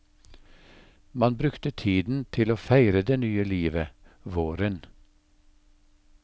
Man brukte tiden til å feire det nye livet, våren.